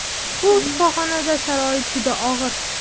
Bu shifoxonada sharoit juda og‘ir.